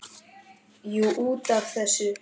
Jú, út af þessu.